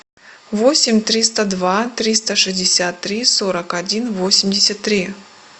восемь триста два триста шестьдесят три сорок один восемьдесят три